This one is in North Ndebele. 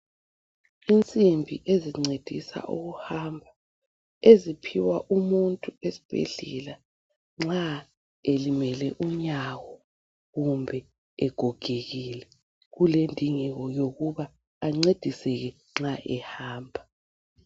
Insimbi ezincedisa ukuhamba eziphiwa umuntu esibhedlela nxa elimele unyawo kumbe egogekile kulendingeko yokuba ancediseke nxa ehamba.